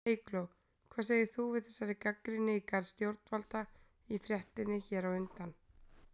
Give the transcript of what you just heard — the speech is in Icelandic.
Eygló, hvað segir þú við þessari gagnrýni í garð stjórnvalda í fréttinni hér á undan?